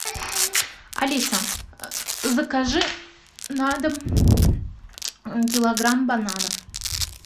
алиса закажи на дом килограмм бананов